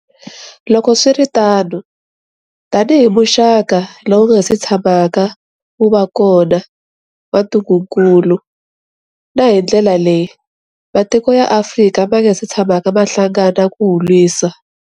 Loko swi ri tano, tanihi muxaka lowu wu nga si tshamaka wu va kona wa ntungukulu, na hi ndlela leyi matiko ya Afrika ma nga si tshamaka ma hlangana ku wu lwisa.